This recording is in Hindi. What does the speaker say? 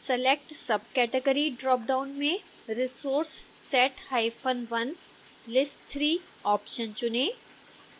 select subcategory ड्रापडाउन में resourcesat1: lissiii ऑप्शन चुनें